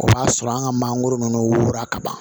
O b'a sɔrɔ an ka mangoro ninnu wolo kaban